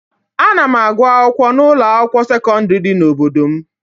Ana m agụ akwụkwọ n'ụlọ akwụkwọ sekọndịrị dị n'obodo m.